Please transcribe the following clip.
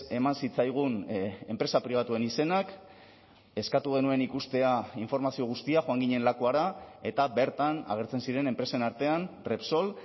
eman zitzaigun enpresa pribatuen izenak eskatu genuen ikustea informazio guztia joan ginen lakuara eta bertan agertzen ziren enpresen artean repsol